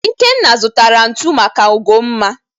Ikenna zụtara ntu maka ugomma.